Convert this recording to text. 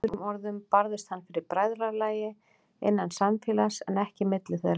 Með öðrum orðum barðist hann fyrir bræðralagi, innan samfélags, en ekki milli þeirra.